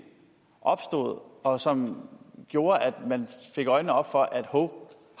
opstod og som gjorde at man fik øjnene op for at hov